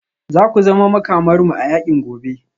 Za ku zama Makamarmu a yakin gobe